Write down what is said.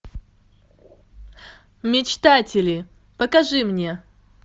мечтатели покажи мне